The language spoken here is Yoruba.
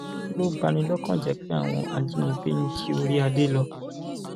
ó lọ bá ní lọkàn jẹ pé àwọn ajínigbé ń jí orí adé lọ